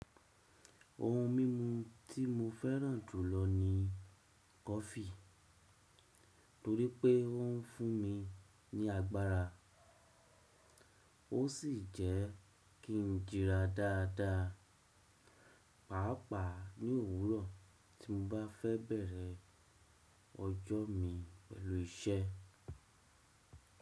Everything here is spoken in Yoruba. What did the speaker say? Ohun mímu tí mo fẹ́ràn jù lọ ni kọfí torí pé ó ń fún mi ní agbára ó sì jẹ́ kí n jira dáadáa, pàápàá ní òwúrọ̀ tí mo bá fẹ́ bẹ̀rẹ̀ ọjọ́ mi pẹ̀lú iṣẹ́.